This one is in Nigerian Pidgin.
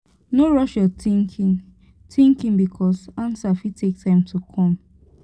no rush yur thinking thinking bikos ansa fit take time to kom